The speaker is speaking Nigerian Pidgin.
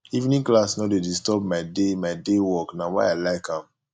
evening class no dey disturb my day my day work na why i like am